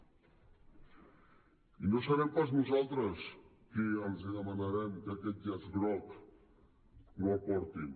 i no serem pas nosaltres qui els demanarem que aquest llaç groc no el portin